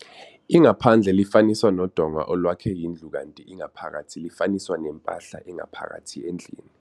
Ingaphandle lifaniswa nodonga olwakhe indlu kanti ingaphakathi lifaniswa nempahla engaphakathi endlini.